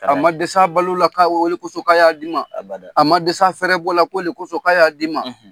A ma dɛsɛ a balola k'a ole kosɔn k'a y'a di man' abada, a ma dɛsɛ a fɛɛrɛ bɔ ko le kosɔn k'a y'a d dii ma